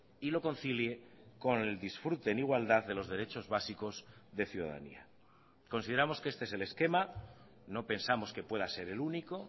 y lo concilie con el disfrute en igualdad de los derechos básicos de ciudadanía consideramos que este es el esquema no pensamos que pueda ser el único